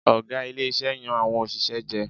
Ọ̀gá ilé iṣẹ́ yan àwọn òṣìṣẹ́ jẹ.